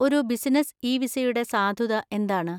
ഒരു business e വിസയുടെ സാധുത എന്താണ്?